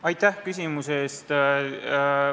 Aitäh küsimuse eest!